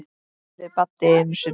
spurði Baddi einu sinni.